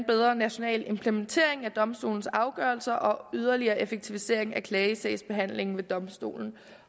bedre national implementering af domstolens afgørelser og yderligere effektivisering af klagesagsbehandlingen ved domstolen